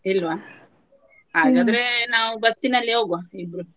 ಇಲ್ವಾ ಹಾಗಾದ್ರೆ ನಾವು ಬಸ್ಸಲ್ಲಿ ಹೋಗುವ ಇಬ್ರು.